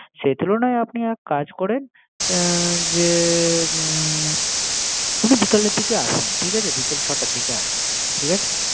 সেতুলনাই আপনি এক কাজ করেন। এ যে হুম বিকালের দিকে আসো। ঠিক আছে। তুমি বিকাল ছয়টার দিকে আসো।